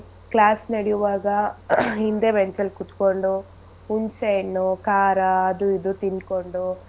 Class ನಡಿಯುವಾಗ ಹಿಂದೆ bench ಅಲ್ ಕುತ್ಕೊಂಡು ಹುಣಸೆಹಣ್ಣು ಖಾರ ಅದು ಇದು ತಿನ್ಕೊಂಡು.